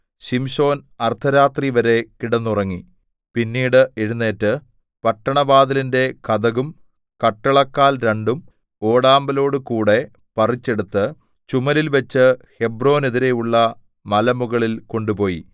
ശിംശോൻ അർദ്ധരാത്രിവരെ കിടന്നുറങ്ങി പിന്നീട് എഴുന്നേറ്റ് പട്ടണവാതിലിന്റെ കതകും കട്ടളക്കാൽ രണ്ടും ഓടാമ്പലോടുകൂടെ പറിച്ചെടുത്ത് ചുമലിൽ വെച്ച് ഹെബ്രോനെതിരെയുള്ള മലമുകളിൽ കൊണ്ടുപോയി